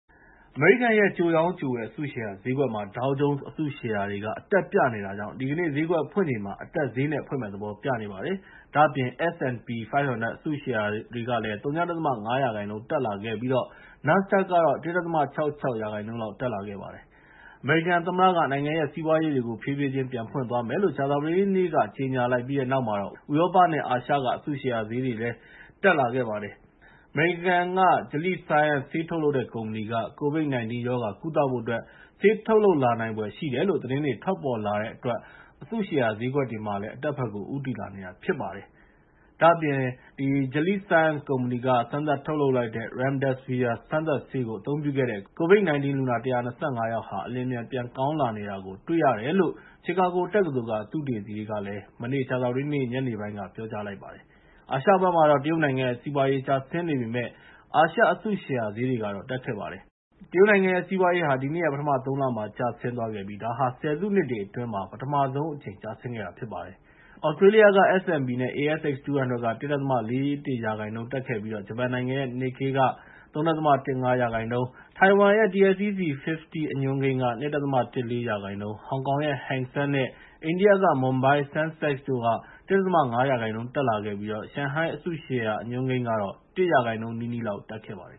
အမေရိကန်ရဲ့ ကြိုရောင်း၊ ကြိုဝယ် အစုရှယ်ဈေးကွက်တွေမှာ Dow Jones အစုရှယ်ယာတွေက အတက်ပြနေတာကြောင့် ဒီကနေ့ ဈေးကွက်ဖွင့်ချိန်မှာ အတက်ဈေးနဲ့ ဖွင့်မယ့်သဘောပြနေပါတယ်။ ဒါ့အပြင် S&P 500 အစုရှယ်ယာတွေဟာလည်း ဝ.၅ ရာခိုင်နှုန်း တက်လာခဲ့ပြီး NASDAQ ကတော့ ၁.၆၆ ရာခိုင်နှုန်း လောက် တက်လာခဲ့ပါတယ်။ အမေရိကန်နိုင်ငံသမ္မတက နိုင်ငံရဲ့စီးပွားရေးလုပ်ငန်းတွေကို ဖြည်းဖြည်းချင်းပြန်ဖွင့်သွားမယ်လို့ ကြာသပတေးနေ့က ကြေငြာလိုက်ပြီးတဲ့နောက် ဥရောပနဲ့ အာရှက အစုရှယ်ဈေးကွက်တွေလည်း တက်ခဲ့ပါတယ်။ အမေရိကန်က Gilead Sciences Inc. ဆေးထုတ်လုပ်တဲ့ ကုမ္ပဏီက COVID-19 ရောဂါကုသဖို့အတွက် ဆေးထုတ်လုပ်လာနိုင်ဖွယ်ရှိတယ်လို့ သတင်းတွေထွက်ပေါ်လာတဲ့အတွက် အစုရှယ်ယာဈေးကွက်တွေ မှာလည်း အတက်ဘက်ကို ဦးတည်လာနေတာဖြစ်ပါတယ်။ ဒါ့အပြင် Chicago တက္ကသိုလ်က သုတေသီတွေကလည်း Gilead Sciences Inc. က စမ်းသပ်ထုတ်လုပ်လိုက်တဲ့ Remdesvir စမ်းသပ်ဆေးကို အသုံးပြုခဲ့တဲ့ ကိုရိုနာဗိုင်းရပ်စ်ကူးစက်ခံလိုက်ရတဲ့ လူနာ ၁၂၅ ယောက် အလျင်အမြန် ပြန်ကောင်းလာနေတာကို တွေ့လာရတယ်လို့ ကြာသပတေးနေ့ ညနေပိုင်းက ပြောလိုက်ပါတယ်။ အာရှဘက်မှာတော့ တရုတ်နိုင်ငံရဲ့ စီးပွားရေးကျဆင်းနေပေမဲ့ အာရှရဲ့ အစုရှယ်ယာ ဈေးတွေကတော့ တက်ခဲ့ပါတယ်။ တရုတ်နိုင်ငံရဲ့ စီးပွားရေးဟာ ဒီနှစ်ရဲ့ ပထမ ၃ လ မှာ ကျဆင်းသွားခဲ့ပြီး ဒါဟာ ဆယ်စုနှစ်တွေအတွင်း ပထမဆုံးအကြိမ် ကျဆင်းတာဖြစ်ပါတယ်။ သြစတြေးလျက S&P နဲ့ ASX200 က ၁.၄၁ ရာခိုင်နှုန်း တက်ပြီး ဂျပန်နိုင်ငံရဲ့ Nikkei က ၃.၁၅ ရာခိုင်နှုန်း ထိုင်ဝမ်ရဲ့ TSEC50 အညွှန်းကိန်းက ၂.၁၄ ရာခိုင်နှုန်း၊ ဟောင်ကောင်ရဲ့ Hang Seng နဲ့ အိန္ဒိယက Mumbai Sensex က ၁.၅ ရာခိုင်နှုန်း တက်ခဲ့ပြီး ရှန်ဟိုင်းအစုရှယ်အညွှန်းကိန်းကတော့ ၁ ရာခိုင်နှုန်း နီးနီးလောက် တက်ခဲ့ပါတယ်